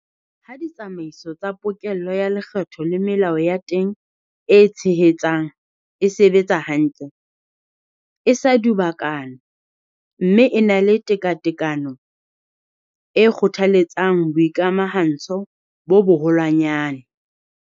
Ha ditsamaiso tsa pokello ya lekgetho le melao ya teng e tshehetsang e sebetsa hantle, e sa dubakana mme e na le tekatekano, e kgothaletsa boikamahantsho bo boholwanyane.